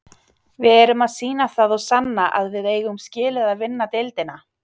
Við erum að sýna það og sanna að við eigum skilið að vinna deildina.